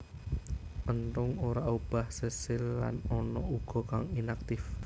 Enthung ora obah sesil lan ana uga kang inaktif